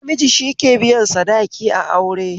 Namiji shike biyan sadaki a aure